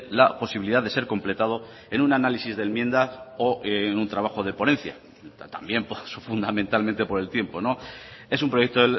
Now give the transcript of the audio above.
la posibilidad de ser completado en un análisis de enmienda o en un trabajo de ponencia también fundamentalmente por el tiempo es un proyecto